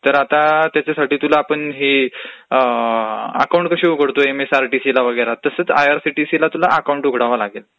तर आता त्यांच्यासाठी तुला अकाऊंट आपलं एमएसआरसीठीलावैगरा कसं ओपन करतो तसं आयआरसीटीसीला अकाऊंट उघडावं लागेल.